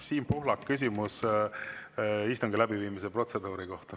Siim Pohlak, küsimus istungi läbiviimise protseduuri kohta.